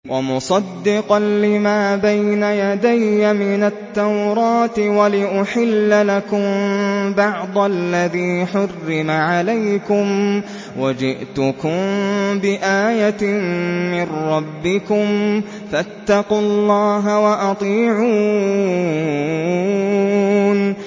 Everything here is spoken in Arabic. وَمُصَدِّقًا لِّمَا بَيْنَ يَدَيَّ مِنَ التَّوْرَاةِ وَلِأُحِلَّ لَكُم بَعْضَ الَّذِي حُرِّمَ عَلَيْكُمْ ۚ وَجِئْتُكُم بِآيَةٍ مِّن رَّبِّكُمْ فَاتَّقُوا اللَّهَ وَأَطِيعُونِ